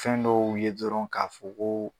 Fɛn dɔw ye dɔrɔn ka fɔ koo